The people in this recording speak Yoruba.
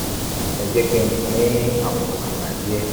ẹ jẹ́ kí n fún yín ní àwọn àbá díẹ̀